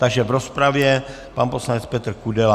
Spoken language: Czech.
Takže v rozpravě pan poslanec Petr Kudela.